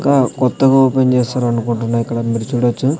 ఒక కొత్తగా ఓపెన్ చేసారనుకుంటున్నా ఇక్కడ మీరు చూడొచ్చు.